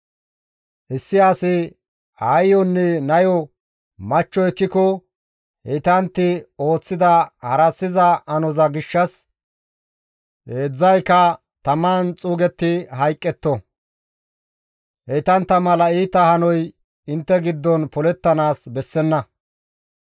« ‹Issi asi aayeyonne nayo machcho ekkiko heytantti ooththida harassiza hanoza gishshas heedzdzayka taman xuugetti hayqqetto; heytantta mala iita hanoy intte giddon polettanaas bessenna.